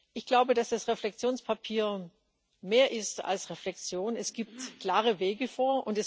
Ich glaube, dass das Reflexionspapier mehr ist als Reflexion, es gibt klare Wege vor.